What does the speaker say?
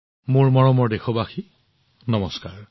মোৰ মৰমৰ দেশবাসীসকল নমস্কাৰ